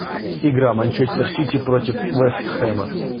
игра манчестер сити против вест хэма